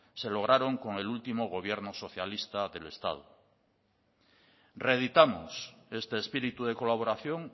se lograron con el último gobierno socialista del estado reeditamos este espíritu de colaboración